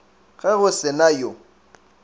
ge go se na yo